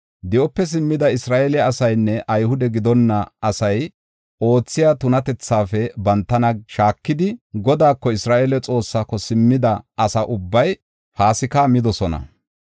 Di7ope simmida Isra7eele asaynne Ayhude gidonna asay oothiya tunatethaafe bantana shaakidi, Godaako, Isra7eele Xoossaako simmida asa ubbay Paasika midosona.